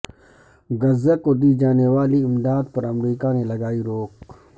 غزہ کو دی جانے والی امداد پر امریکہ نے لگائی روک